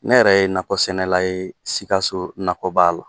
Ne yɛrɛ ye nakɔ sɛnɛla ye Sikasso nakɔba la.